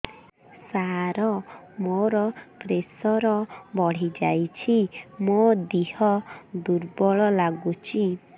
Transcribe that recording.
ସାର ମୋର ପ୍ରେସର ବଢ଼ିଯାଇଛି ମୋ ଦିହ ଦୁର୍ବଳ ଲାଗୁଚି